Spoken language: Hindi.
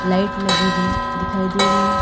लाइट लगी हुई दिखाई दे रही है।